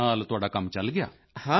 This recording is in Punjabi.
ਉਸ ਨਾਲ ਤੁਹਾਡਾ ਕੰਮ ਚੱਲ ਗਿਆ